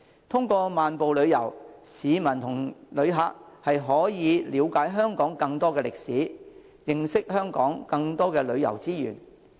通過漫步旅遊，市民及旅客可以了解香港更多歷史，認識香港更多旅遊資源。